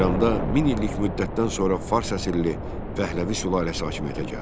İranda min illik müddətdən sonra fars əsilli Pəhləvi sülaləsi hakimiyyətə gəldi.